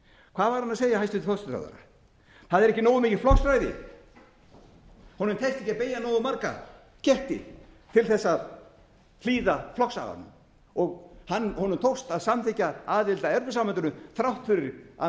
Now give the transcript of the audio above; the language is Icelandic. hvað var hann að segja hæstvirtur forsætisráðherra það er ekki nógu mikið flokksræði honum tekst ekki að beygja nógu marga ketti til þess að hlýða flokksaganum honum tókst að samþykkja aðild að evrópusambandinu þrátt fyrir að